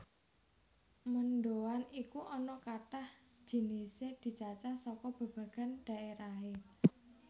Mendhoan iku ana kathah jinisé dicacah saka babagan dhaérahé